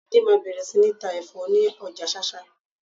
Láídé máa bẹ̀rẹ̀ sí ní ta ẹ̀fọ́ ni ọjà Ṣáṣá.